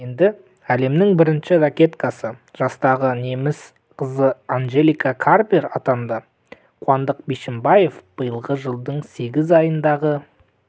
енді әлемнің бірінші ракеткасы жастағы неміс қызы анжелика кербер атанды қуандық бишімбаев биылғы жылдың сегіз айындағы